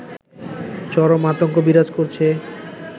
চরম আতঙ্ক বিরাজ করছে